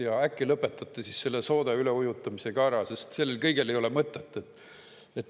Ja äkki lõpetate siis selle soode üleujutamise ka ära, sest sellel kõigel ei ole mõtet.